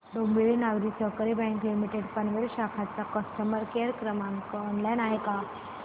Dombivli Nagari Sahakari bank limited Panvel शाखा चा customer care क्रमांक ऑनलाइन आहे का